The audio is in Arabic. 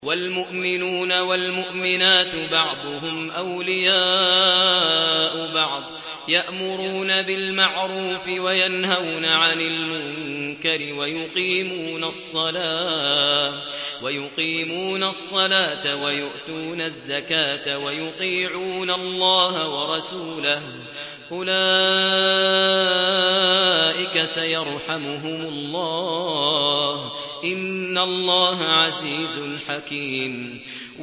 وَالْمُؤْمِنُونَ وَالْمُؤْمِنَاتُ بَعْضُهُمْ أَوْلِيَاءُ بَعْضٍ ۚ يَأْمُرُونَ بِالْمَعْرُوفِ وَيَنْهَوْنَ عَنِ الْمُنكَرِ وَيُقِيمُونَ الصَّلَاةَ وَيُؤْتُونَ الزَّكَاةَ وَيُطِيعُونَ اللَّهَ وَرَسُولَهُ ۚ أُولَٰئِكَ سَيَرْحَمُهُمُ اللَّهُ ۗ إِنَّ اللَّهَ عَزِيزٌ حَكِيمٌ